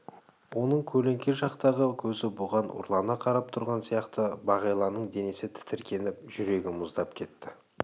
оның көлеңке жақтағы көзі бұған ұрлана қарап тұрған сияқты бағиланың денесі тітіркеніп жүрегі мұздап кетті